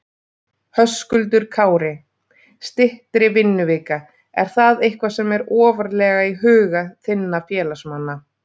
Höskuldur Kári: Styttri vinnuvika, er það eitthvað sem er ofarlega í huga þinna félagsmanna?